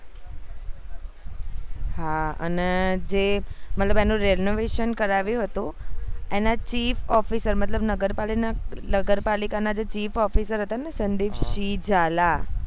હા અને જે મતલબ જે એનું renovation કરાવ્યું હતું એના chief officer મતલબ નગરપાલિકા ના જે chief officer હતા ને સંદીપસિંહ ઝાલા